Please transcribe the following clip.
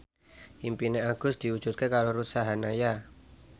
impine Agus diwujudke karo Ruth Sahanaya